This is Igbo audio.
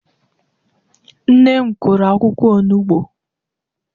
Nne m kụrụ akwukwo olugbo.